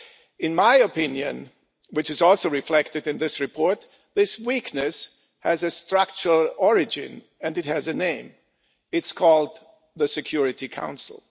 In my opinion, which is reflected in the report, this weakness has a structural origin and it has a name it is called the Security Council.